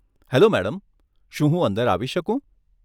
Hello madam, શું હું અંદર આવી શકું?